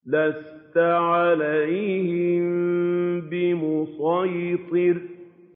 لَّسْتَ عَلَيْهِم بِمُصَيْطِرٍ